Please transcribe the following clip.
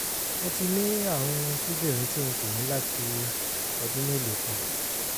mo ti ní àrùn kíndìnrín tí n kò ní láti ọdún mélòó kan